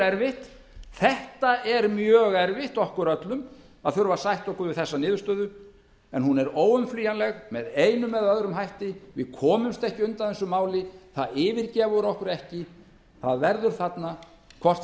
erfitt þetta er mjög erfitt okkur öllum að þurfa að sætta okkur við þessa niðurstöðu en hún er óumflýjanleg með einum eða öðrum hætti við komumst ekki undan þessu máli það yfirgefur okkur ekki það verður þarna hvort